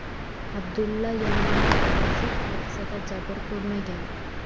Abdulla Yaminning o‘zi hodisada jabr ko‘rmagan.